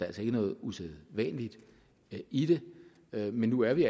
altså ikke noget usædvanligt i det men nu er vi